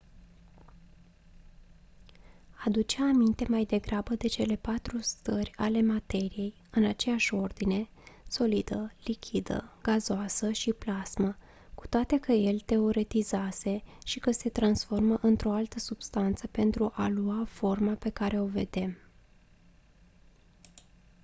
aducea aminte mai degrabă de cele patru stări ale materiei în aceeași ordine: solidă lichidă gazoasă și plasmă cu toate că el teoretizase și că se transformă într-o altă substanță pentru a lua forma pe care o vedem